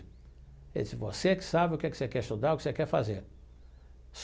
Ele disse, você que sabe o que que você quer estudar, o que você quer fazer.